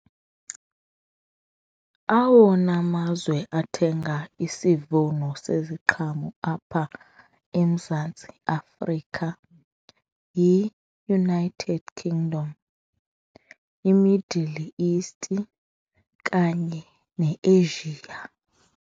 Awona mazwe athenga isivuno seziqhamo apha eMzantsi Afrika yiUnited Kingdom, iMiddle East kanye neAsia.